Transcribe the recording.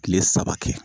Kile saba kɛ